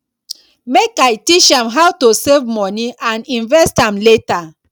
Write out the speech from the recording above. make i teach am how to save moni and invest am later